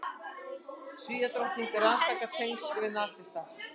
Svíadrottning rannsakar tengsl við nasista